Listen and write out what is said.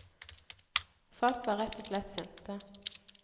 Folk var rett og slett sinte.